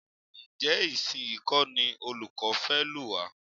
Ǹjẹ́ ìsinyìí kọ́ ní olùkọ́ fẹ́ lù wá?